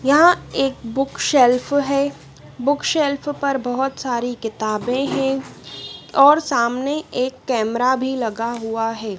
यहां एक book shelf है। बुक शेल्फ पर बहोत सारी किताबें हैं और सामने एक कैमरा भी लगा हुआ है।